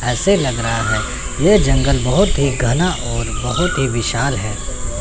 ऐसे लग रहा है कि ये जंगल बहोत ही घना और बहोत ही विशाल है।